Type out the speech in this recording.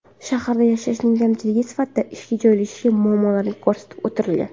Shaharda yashashning kamchiligi sifatida ishga joylashishdagi muammolar ko‘rsatib o‘tilgan.